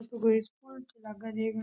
कोई स्कूल सा लाग है देखन मैं।